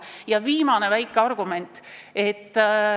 Ja viimane argument.